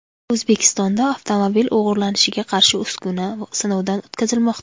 O‘zbekistonda avtomobil o‘g‘irlanishiga qarshi uskuna sinovdan o‘tkazilmoqda.